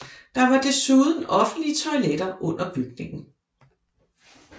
Der var desuden offentlige toiletter under bygningen